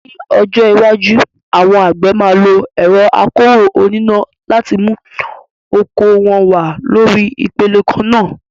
Ní ọjọ́ iwájú, àwọn àgbẹ̀ máa lo ẹ̀rọ akọ́rọ́ oníná láti mú oko wọn wá lórí ipele kan náà.